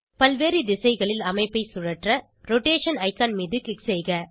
பல்வேறு திசைகளில் அமைப்பை சுழற்ற ரோடேஷன் ஐகான் மீது க்ளிக் செய்க